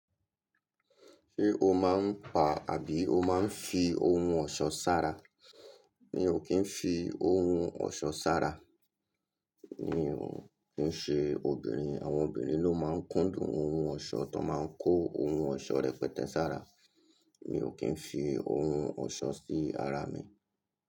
Ṣé o máa ń pa àbí o máa ń fi ohun ọ̀ṣọ́ ṣára? Mi ò kí ń fi ohun ọ̀ṣọ́ ṣára, mi ò kí ń ṣe obìnrin. Àwọn obìnrin ló máa ń kúndùn ohun ọ̀ṣọ́, wọn máa ń kó ohun ọ̀ṣọ́ rẹ̀ pẹ́tẹ́ ṣára. Mi ò kí ń fi ohun ọ̀ṣọ́ sí ara mi.